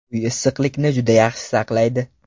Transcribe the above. Uy issiqlikni juda yaxshi saqlaydi.